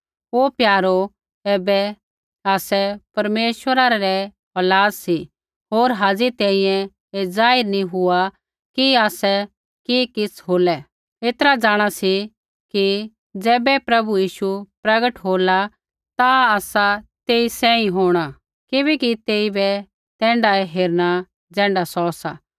हे प्यारो ऐबै आसै परमेश्वरा रै औलाद सी होर हाज़ी तैंईंयैं ऐ जाहिर नैंई हुआ कि आसै कि किछ़ होलै ऐतरा जाँणा सी कि ज़ैबै प्रभु यीशु प्रकट होला ता आसै तेई सांही होंणा किबैकि तेइबै तैण्ढाऐ हेरणा ज़ैण्ढा सौ सा